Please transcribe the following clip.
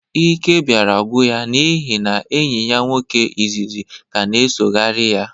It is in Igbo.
Íké bịara gwụ ya n'ịhị enyi ya nwoke ịzịzị ka na-esogharị ya